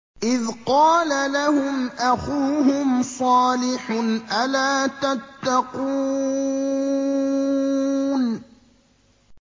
إِذْ قَالَ لَهُمْ أَخُوهُمْ صَالِحٌ أَلَا تَتَّقُونَ